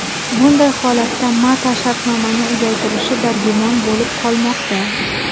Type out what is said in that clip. Bunday holatda Mata shartnomani uzaytirishi dargumon bo‘lib qolmoqda.